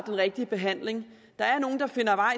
rigtige behandling der er nogle der